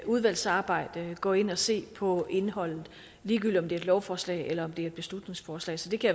udvalgsarbejde gå ind og se på indholdet ligegyldigt et lovforslag eller et beslutningsforslag så det kan